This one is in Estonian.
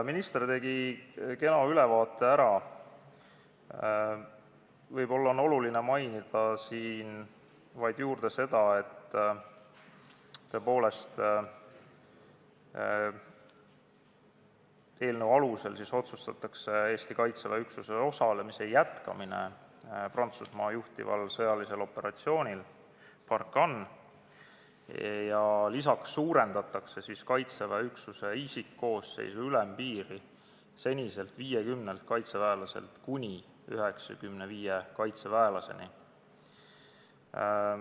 Minister tegi täna siin juba kena ülevaate ära, aga võib-olla tuleks veel mainida, et selle eelnõu alusel otsustatakse Eesti Kaitseväe üksuse osalemise jätkamine Prantsusmaa juhtival sõjalisel operatsioonil Barkhane ning suurendatakse Kaitseväe üksuse isikkoosseisu ülempiiri seniselt 50-lt kaitseväelaselt kuni 95 kaitseväelaseni.